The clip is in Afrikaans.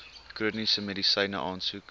chroniese medisyne aansoek